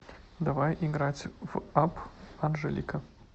давай играть в апп анжелика